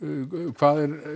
hvað er